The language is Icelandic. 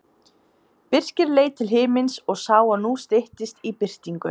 Birkir leit til himins og sá að nú styttist í birtingu.